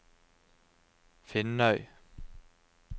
Finnøy